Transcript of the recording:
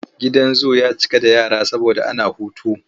Gidan zu ya cika da yara saboda ana hutu.